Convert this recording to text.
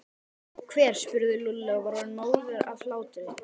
Hver? spurði Lúlli og var orðinn móður af hlátri.